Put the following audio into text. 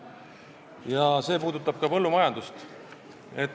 See jutt puudutab ka põllumajandust.